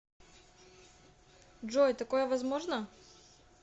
джой такое возможно